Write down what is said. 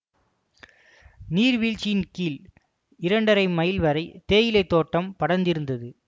நீர்வீழ்ச்சியின் கீழ் இரண்டரை மைல் வரை தேயிலை தோட்டம் படர்ந்திருந்தது